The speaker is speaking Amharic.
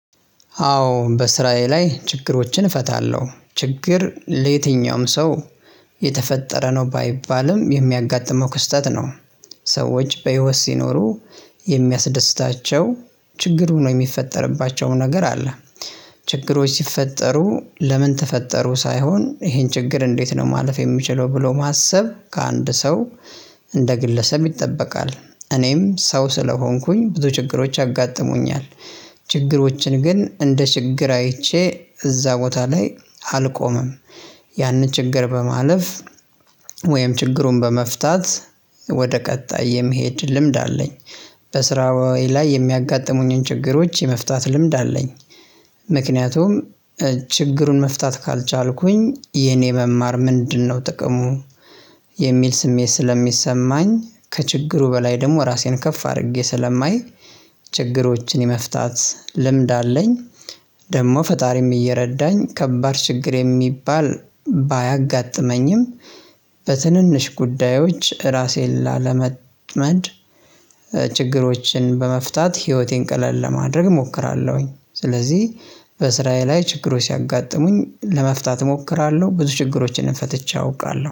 አዎ በስራዬ ላይ ችግሮችን እፈታለሁ ችግር ለየትኛውም ሰው የተፈጠረ ነው ባይባልም የሚያጋጥመው ክስተት ነው። ሰዎች በህይወት ሲኖሩ የሚያስደስታቸው ችግሩ ነው የሚፈጠርባቸውም ነገር አለ። ችግሮች ሲፈጠሩ ለምን ተፈጠሩ ሳይሆን ይሄን ችግር እንዴት ነው ማለፍ የምችለው ብሎ ማሰብ ከአንድ ሰው እንደ ግለሰብ ይጠበቃል። እኔም ሰው ስለሆንኩኝ ብዙ ችግሮች ያጋጥሙኛል። ችግሮችን ግን እንደ ችግር አይቼ እዛ ቦታ ላይ አልቆምም። ያንን ችግር በማለፍ ወይም ችግሩን በመፍታት ወደ ቀጣይ የመሄድ ልምድ አለኝ። በስራዬ ላይ የሚያጋጥሙኝን ችግሮች የመፍታት ልምድ አለኝ። ምክንያቱም ችግሩን መፍታት ካልቻልኩኝ የኔ መማር ምንድነው? ጥቅሙ የሚል ስሜት ስለሚሰማኝ ከችግሩ በላይ ደግሞ ራሴን ከፍ አድርጌ ስለማይ ችግሮችን የመፍታት ልምድ አለኝ። ደግሞ ፈጣሪም እየረዳኝ ከባድ ችግር የሚባል ባያጋጥመኝም በትንንሽ ጉዳዮች ራሴን ላለመጥመድ ችግሮችን በመፍታት ህይወቴን ቀለል ለማድረግ እሞክራለሁኝ። ስለዚህ በስራየ ላይ ችግሮች ሲያጋጥሙኝ ለመፍታት እሞክራለሁ ብዙ ችግሮችን ፈትቸ አውቃለሁ